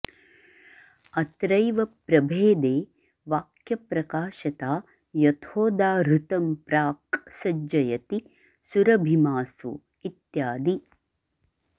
अत्रैव प्रभेदे वाक्यप्रकाशता यथोदाहृतं प्राक् ॑ सज्जयति सुरभिमासो ॑ इत्यादि